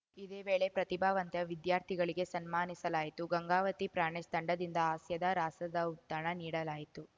ಇದೇ ವೇಳೆ ಪ್ರತಿಭಾವಂತ ವಿದ್ಯಾರ್ಥಿಗಳಿಗೆ ಸನ್ಮಾನಿಸಲಾಯಿತು ಗಂಗಾವತಿ ಪ್ರಾಣೇಶ್‌ ತಂಡದಿಂದ ಹಾಸ್ಯದ ರಸದೌತಣ ನೀಡಲಾಯಿತು